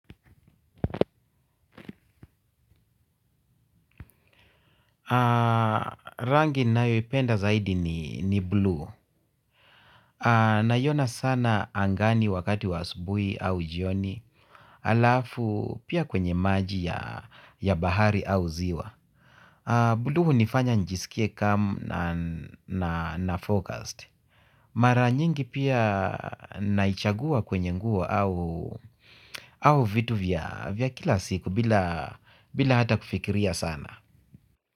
Rangi ninayoipenda zaidi ni bluu. Naiona sana angani wakati wa asubuhi au jioni halafu pia kwenye maji ya bahari au ziwa. Bluu hunifanya nijisikie calm na focused. Mara nyingi pia naichagua kwenye nguo au vitu vya kila siku bila bila hata kufikiria sana.